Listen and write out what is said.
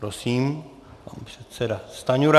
Prosím, pan předseda Stanjura.